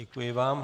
Děkuji vám.